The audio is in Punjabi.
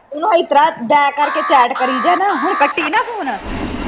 ਉਹਨੂੰ ਇਹ ਤਰ੍ਹਾਂ back ਕਰਕੇ chat ਕਰੀ ਜਾ ਹੁਣ ਕੱਟੀ ਨਾ phone